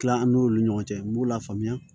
Tila an n'olu ni ɲɔgɔn cɛ n b'u lafaamuya